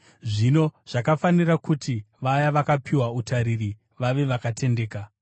Zvino zvakafanira kuti vaya vakapiwa utariri vave vakatendeka.